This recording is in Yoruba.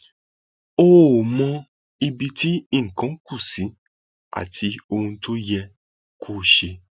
ó ó mọ ibi tí nǹkan kù sí àti ohun tí ò yẹ kó ṣe